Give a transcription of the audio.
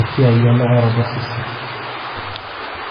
esiai enukaroto osesen.